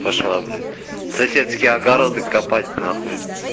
пошла блять соседские огороды копать нахуй